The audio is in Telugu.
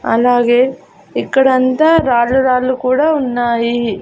అలాగే ఇక్కడ అంతా రాళ్లు రాళ్లు కూడా ఉన్నాయి.